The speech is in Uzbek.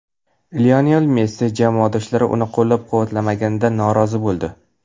Lionel Messi jamoadoshlari uni qo‘llab-quvvatlamaganidan norozi bo‘ldi.